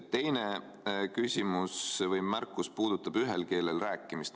Teine küsimus või märkus puudutab ühel keelel rääkimist.